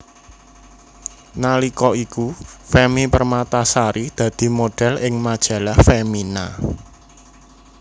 Nalika iku Femmy Permatasari dadi modhél ing Majalah Femina